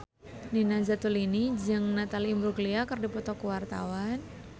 Nina Zatulini jeung Natalie Imbruglia keur dipoto ku wartawan